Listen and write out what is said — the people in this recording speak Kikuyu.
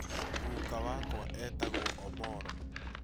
Guka wakwa etagwo Omollo